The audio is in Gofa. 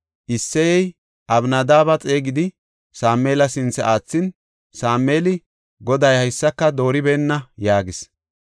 Isseyey Abinadaabe xeegidi, Sameela sinthe aathin, Sameeli, “Goday haysaka dooribeenna” yaagis.